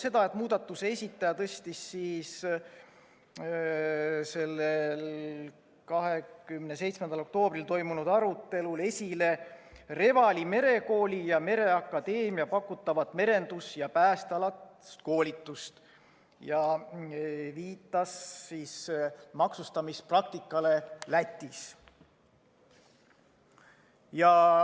Seda, et muudatusettepaneku esitaja tõstis 27. oktoobril toimunud arutelul esile Revali Merekooli ja mereakadeemia pakutavat merendus‑ ja päästealast koolitust ja viitas maksustamispraktikale Lätis.